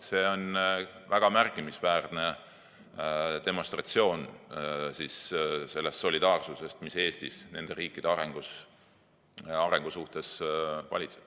See demonstreerib väga märkimisväärselt seda solidaarsust, mis Eestis nende riikide arengu suhtes valitseb.